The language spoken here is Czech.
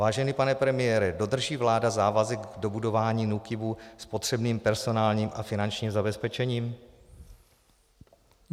Vážený pane premiére, dodrží vláda závazek k dobudování NÚKIBu s potřebným personálním a finančním zabezpečením?